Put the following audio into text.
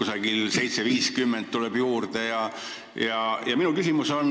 Näiteks mingis lahtris tuleb juurde summa 7.50.